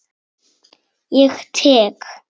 Ég tek